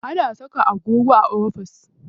Ana saka agogo a ofis.